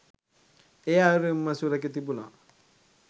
ඒ අයුරින් ම සුරැකී තිබුණා.